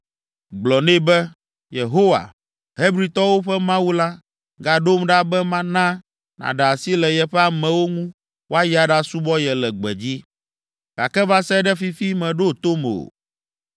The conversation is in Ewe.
Gblɔ nɛ be, ‘Yehowa, Hebritɔwo ƒe Mawu la, gaɖom ɖa be mana nàɖe asi le yeƒe amewo ŋu woayi aɖasubɔ ye le gbedzi.’ Gake va se ɖe fifi meɖo tom o.